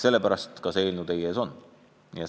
Sellepärast ka see eelnõu teie ees on.